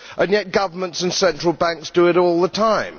Yet governments and central banks do it all the time.